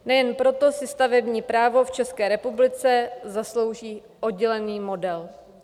Nejen proto si stavební právo v České republice zaslouží oddělený model.